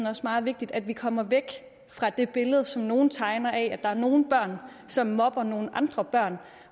er meget vigtigt at vi kommer væk fra det billede som nogle tegner af at der er nogle børn som mobber nogle andre børn